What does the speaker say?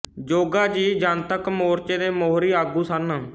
ਜੋਗਾ ਜੀ ਜਨਤੱਕ ਮੋਰਚੇ ਦੇ ਮੋਹਰੀ ਆਗੂ ਸਨ